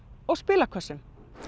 og spilakassa